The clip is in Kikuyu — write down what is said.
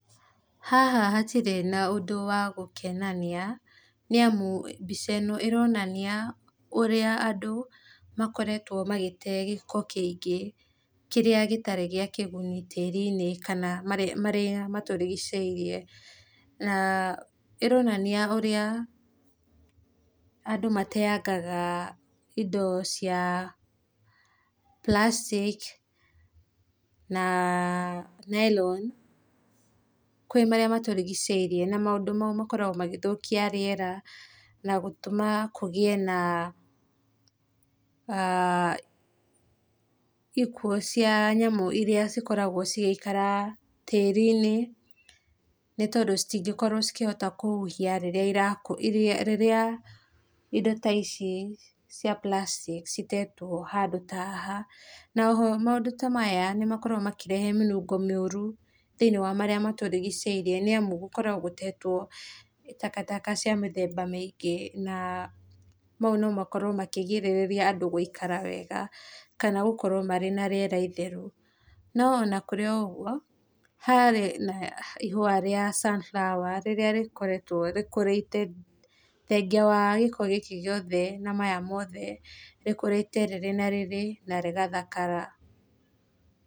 Haha hatirĩ na ũndũ wa gũkenania nĩ amũ mbĩca ĩno ĩronania ũrĩa andũ makoretgwo gĩtegĩko kĩingĩ kĩrĩa gĩtarĩ gĩa igũnĩ tĩri inĩ kana kana marĩa matũrigicĩirie na ironanĩa ũrĩa andũ mateangaga ino cia plastic na nylon kwĩ marĩa matũrigĩcĩirĩe na maũndũ maũ makoragwo magĩthũkia rĩera na gũtũma kũgĩe na aah ikuũ cia nyamũ irĩa cikoragwo cigĩikara tĩri inĩ nĩ tondũ cĩtĩngĩkorwo cikĩhota kũhũhia rĩrĩa ira rĩrĩa indo ta ici cia plastic itetwo haha na oho maũndũ ta maya nĩmakoragwo makĩrehe mĩnũngo mĩũrũ thĩinĩ wa marĩa matũrigicĩirie nĩ amũ gũkoragwo gũtetwo takataka cia mĩthemba mĩingĩ na maũ no makorwo makĩgĩrĩrĩria andũ gũikara wega kana gũkorwo marĩ na rĩera itherũ no ona kũrĩ oroũgũo haha kũrĩ na ihũa rĩa sunflower rĩrĩa rĩkoretwo rĩkũgĩte thengĩa wa gĩko gĩkĩ gĩothe na maya mothe rĩkũrĩte rĩrĩ na riri na rĩgathakara.